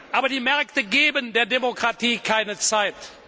Aber die Märkte geben der Demokratie keine Zeit.